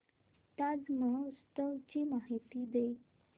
ताज महोत्सव ची माहिती दे